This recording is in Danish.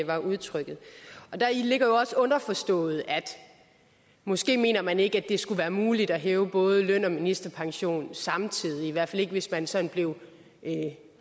var udtrykket og deri ligger jo også underforstået at måske mener man ikke det skulle være muligt at hæve både løn og ministerpension samtidig i hvert fald ikke hvis man sådan blev